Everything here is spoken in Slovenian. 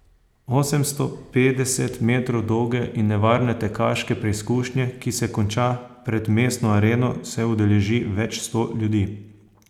Osemsto petdeset metrov dolge in nevarne tekaške preizkušnje, ki se konča pred mestno areno, se udeleži več sto ljudi.